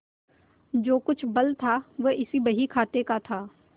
जो कुछ बल था वह इसी बहीखाते का था